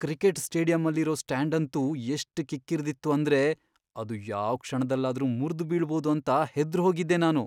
Cricket ಸ್ಟೇಡಿಯಮ್ಮಲ್ಲಿರೋ ಸ್ಟ್ಯಾಂಡಂತೂ ಎಷ್ಟ್ ಕಿಕ್ಕಿರ್ದಿತ್ತು ಅಂದ್ರೆ ಅದು ಯಾವ್ ಕ್ಷಣದಲ್ಲಾದ್ರೂ ಮುರ್ದ್ ಬೀಳ್ಬೋದು ಅಂತ ಹೆದ್ರೋಗಿದ್ದೆ ನಾನು.